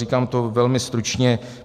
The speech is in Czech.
Říkám to velmi stručně.